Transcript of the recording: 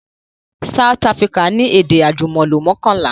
South Africa ni èdè àjùmọ̀lò mọ́kànlá